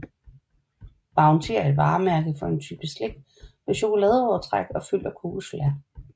Bounty er et varemærke for en type slik med chokoladeovertræk og fyld af kokosflager